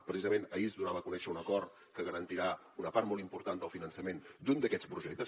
precisament ahir es donava a conèixer un acord que garantirà una part molt important del finançament d’un d’aquests projectes